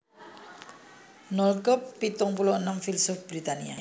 Noel Cobb pitung puluh enem filsuf Britania